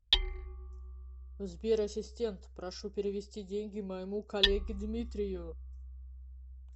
сбер ассистент прошу перевести деньги моему коллеге дмитрию